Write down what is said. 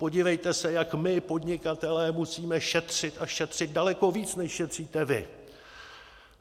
Podívejte se, jak my podnikatelé musíme šetřit a šetřit, daleko víc než šetříte vy.